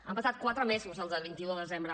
han passat quatre mesos doncs del vint un de desembre